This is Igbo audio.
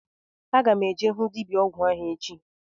Aga m eje ịhụ dibịa ọgwụ ahụ echi